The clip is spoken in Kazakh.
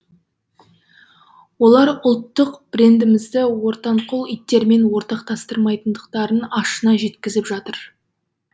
олар ұлттық брендімізді ортанқол иттермен ортақтастырмайтындықтарын ашына жеткізіп жатыр